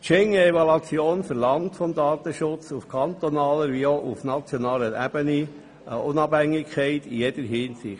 Die Schengen-Evaluation verlangt vom Datenschutz auf kantonaler wie auch auf nationaler Ebene Unabhängigkeit in jeder Hinsicht.